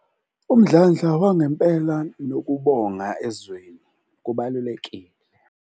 Umdlandla wangempela nokubonga ezweni kubalulekile.